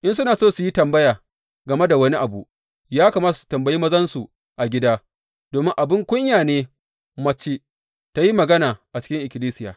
In suna so su yi tambaya game da wani abu, ya kamata su tambayi mazansu a gida, domin abin kunya ne mace tă yi magana a cikin ikkilisiya.